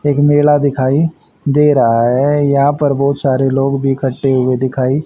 एक मेला दिखाई दे रहा है यहां पर बहुत सारे लोग भी इकठ्ठे हुए दिखाई--